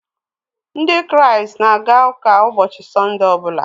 Ndị Kraịst na-aga ụka ụbọchị Sọnde ọbụla